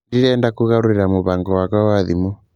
Ndirenda kũgarũrĩra mũbango wakwa wa thimũ